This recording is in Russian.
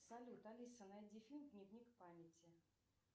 салют алиса найди фильм дневник памяти